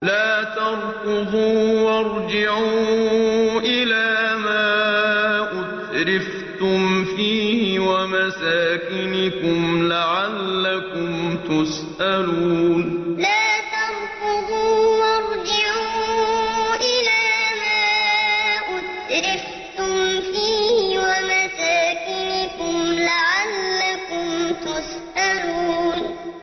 لَا تَرْكُضُوا وَارْجِعُوا إِلَىٰ مَا أُتْرِفْتُمْ فِيهِ وَمَسَاكِنِكُمْ لَعَلَّكُمْ تُسْأَلُونَ لَا تَرْكُضُوا وَارْجِعُوا إِلَىٰ مَا أُتْرِفْتُمْ فِيهِ وَمَسَاكِنِكُمْ لَعَلَّكُمْ تُسْأَلُونَ